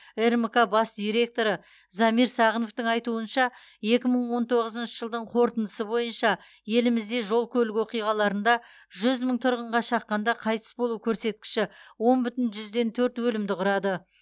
рмк бас директоры замир сағыновтың айтуынша екі мың он тоғызыншы жылдың қорытындысы бойынша елімізде жол көлік оқиғаларында жүз мың тұрғынға шаққанда қайтыс болу көрсеткіші он бүтін жүзден төрт өлімді құрады